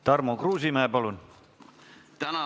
Tarmo Kruusimäe, palun!